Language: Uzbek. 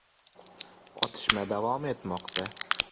Otishma davom etmoqda.